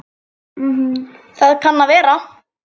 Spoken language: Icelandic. Það kann að vera